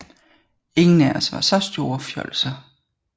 Ingen af os var så store fjolser